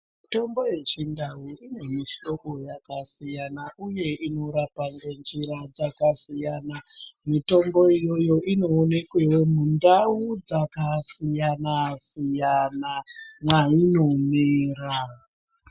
Mitombo yechindau ine mihlobo yakasiyana uye inorapa ngenjira zvakasiyana. Mitombo iyoyo inoonekwawo mundau dzakasiyana-siyana mwainomera.